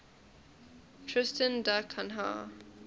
tristan da cunha